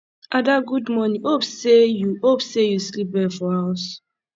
ada good morning hope say you hope say you sleep well for house